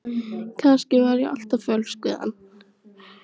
Kannski var ég alltaf fölsk við hann!